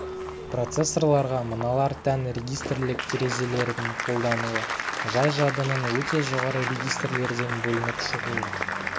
процессорларға мыналар тән регистрлік терезелердің қолдануы жай жадының өте жоғары регистрлерден бөлініп шығуы